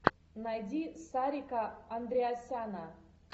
найди сарика андреасяна